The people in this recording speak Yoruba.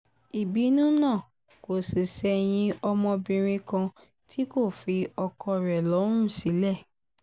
ìbínú náà kò sì ṣẹ̀yìn ọmọbìnrin kan tí kò fi ọkọ rẹ̀ lọ́rùn sílẹ̀